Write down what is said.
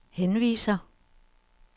henviser